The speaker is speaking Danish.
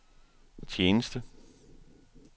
tjeneste